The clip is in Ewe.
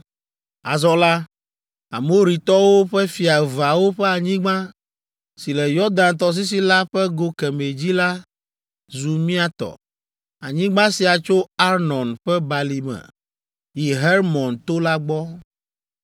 Azɔ la, Amoritɔwo ƒe fia eveawo ƒe anyigba si le Yɔdan tɔsisi la ƒe go kemɛ dzi la zu mía tɔ. Anyigba sia tso Arnon ƒe balime yi Hermon to la gbɔ.